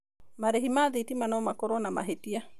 Marĩhi ma thitima no makorwo na mahĩtia.